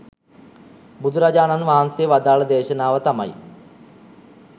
බුදුරජාණන් වහන්සේ වදාළ දේශනාව තමයි